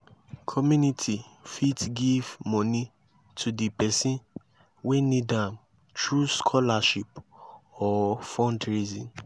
community fit give money to di person wey need am through scholarship or fundraising